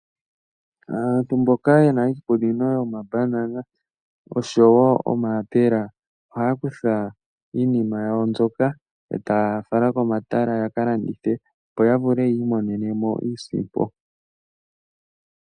Aantu mboka yena iikunino yomambanana oshowo omayapela, ohaya kutha iinima yawo mbyoka etaya fala komatala ya kalandithe, opo ya vule yi imonene mo iisimpo.